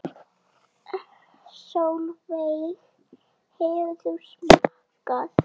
Sólveig: Hefur þú smakkað?